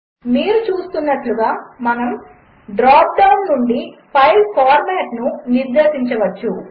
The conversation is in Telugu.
మీరుచూస్తున్నట్టుగా మనముడ్రాప్డౌన్నుండిఫైల్ఫార్మాట్నునిర్దేశించవచ్చు